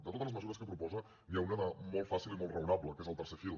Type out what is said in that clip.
de totes les mesures que proposa n’hi ha una de molt fàcil i molt raonable que és el tercer fil